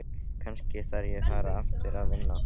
Kannski þarf ég að fara aftur að vinna.